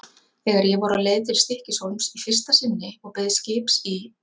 Þegar ég var á leið til Stykkishólms í fyrsta sinni og beið skips í